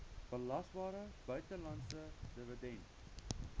belasbare buitelandse dividend